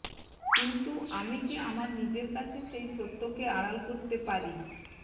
কিন্তু আমি কি আমার নিজের কাছে সেই সত্য কে আড়াল করতে পারি